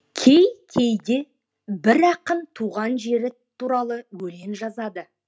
кей кейде бір ақын туған жері туралы өлең жазады